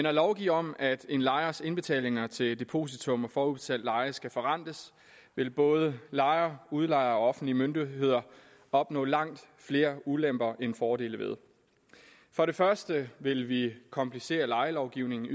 at lovgive om at en lejers indbetalinger til depositum og forudbetalt leje skal forrentes vil både lejere udlejere og offentlige myndigheder opnå langt flere ulemper end fordele for det første vil vi komplicere lejelovgivningen